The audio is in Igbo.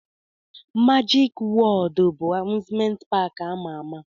Majik Wọọd bụ amuzment paki ama ama.